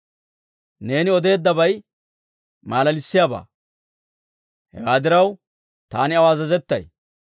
Neeni odeeddabay malalissiyaabaa; hewaa diraw, taani aw azazettay.